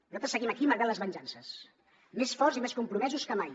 nosaltres seguim aquí malgrat les venjances més forts i més compromesos que mai